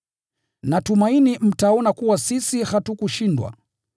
Natumaini mtaona kuwa sisi hatukushindwa.